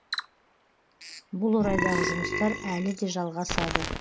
бұл орайдағы жұмыстар әлі де жалғасады